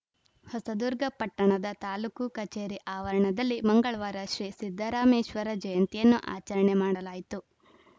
ಹೊಸದುರ್ಗ ಪಟ್ಟಣದ ತಾಲೂಕು ಕಚೇರಿ ಆವರಣದಲ್ಲಿ ಮಂಗಳವಾರ ಶ್ರೀ ಸಿದ್ದರಾಮೇಶ್ವರ ಜಯಂತಿಯನ್ನು ಆಚರಣೆ ಮಾಡಲಾಯಿತು